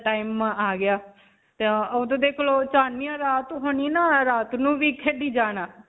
ਇੱਦਾਂ ਦਾ time ਆ ਗਿਆ clothes ਰਾਤ ਹੋਣੀ ਨਾ, ਰਾਤ ਨੂੰ ਵੀ ਖੇਡੀ ਜਾਣਾ.